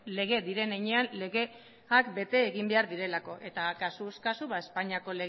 lege diren heinean legeak bete egin behar direlako eta kasuz kasu espainiako